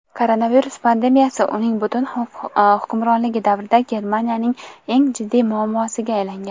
koronavirus pandemiyasi uning butun hukmronligi davrida Germaniyaning eng jiddiy muammosiga aylangan.